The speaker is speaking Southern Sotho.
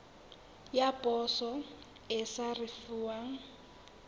ya poso e sa risefuwang